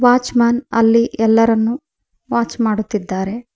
Watch man ಅಲ್ಲಿ ಎಲ್ಲರನ್ನೂ watch ಮಾಡುತ್ತಿದ್ದಾರೆ.